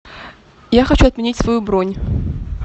я хочу отменить свою бронь